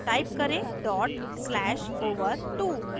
type करें: dot slash over2